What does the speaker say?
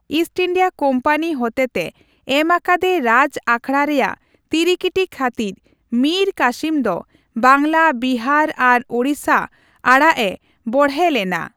East India company ᱦᱚᱛᱮᱛᱮ ᱮᱢ ᱟᱠᱟᱫᱮ ᱨᱟᱡᱽ ᱟᱠᱷᱲᱟ ᱨᱮᱭᱟᱜ ᱛᱤᱨᱤᱠᱤᱴᱤ ᱠᱷᱟᱹᱛᱤᱨ ᱢᱤᱨ ᱠᱟᱹᱥᱤᱢ ᱫᱚ ᱵᱟᱝᱞᱟ, ᱵᱤᱦᱟᱨ ᱟᱨ ᱳᱲᱤᱥᱟ ᱟᱲᱟᱜ ᱮ ᱵᱚᱲᱦᱮ ᱞᱮᱱᱟ ᱾